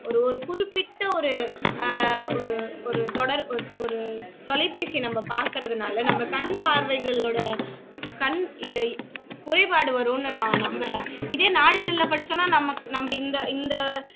ஒரு ஒரு குறிப்பிட்ட ஒரு ஆஹ் ஒரு ஒரு தொடர் ஒரு தொலைப்பேசி நம்ம பாக்குறதுனால நம்ம கண் பார்வைகளோட கண் இ குறைபாடு வருமுன்னு நான் நம்புறேன் இதே நாளிதழில படிச்சோம்னா நமக்கு நம்ம இந்த இந்த